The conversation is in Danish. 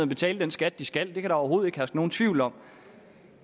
betale den skat de skal det kan der overhovedet ikke herske nogen tvivl om